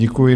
Děkuji.